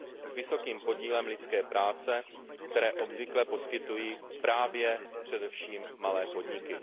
s vysokým podílem lidské práce, které obvykle poskytují právě především malé podniky.